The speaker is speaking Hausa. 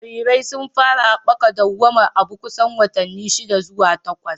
Jarirai sun fara haɓaka dawwamar abu kusan watanni shida zuwa takwas.